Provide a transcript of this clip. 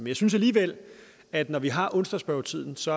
jeg synes alligevel at det når vi har onsdagsspørgetiden så